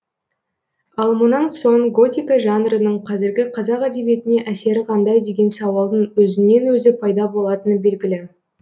ал мұнан соң готика жанрының қазіргі қазақ әдебиетіне әсері қандай деген сауалдың өзінен өзі пайда болатыны белгілі